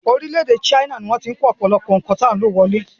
Orílẹ̀-èdè China ni wọ́n ti ń kó ọ̀pọ̀lọpọ̀ ohun tí a ń lò wọlé.